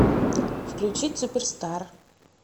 включить суперстар